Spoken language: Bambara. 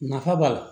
Nafa b'a la